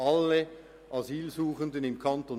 Alle Asylsuchenden im Kanton